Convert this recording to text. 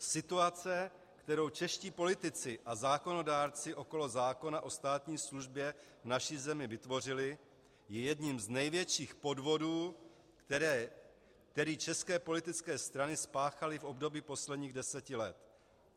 Situace, kterou čeští politici a zákonodárci okolo zákona o státní službě v naší zemi vytvořili, je jedním z největších podvodů, který české politické strany spáchaly v období posledních deseti let.